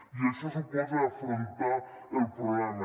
i això suposa afrontar el problema